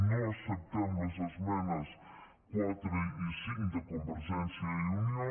no acceptem les esmenes quatre i cinc de convergència i unió